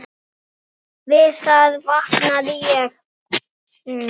Við það vaknaði ég.